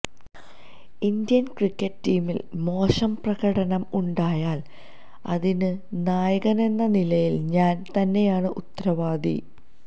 Indian cricket ടീമിന് മോശം പ്രകടനം ഉണ്ടായാല് അതിന് നായകനെന്ന നിലയില് ഞാന് തന്നെയാണ് ഉത്തരവാദി